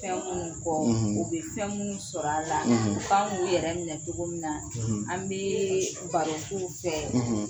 Fɛn ninnu kɔ u bɛ fɛn minnu sɔrɔ a la u kan k'u yɛrɛ minɛ cogo min na an bɛɛ baro k'u fɛ